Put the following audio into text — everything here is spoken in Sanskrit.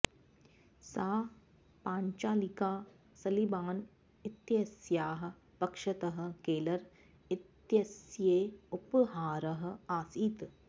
सा पाञ्चालिका सलीबान् इत्यस्याः पक्षतः केलर् इत्यस्यै उपहारः आसीत्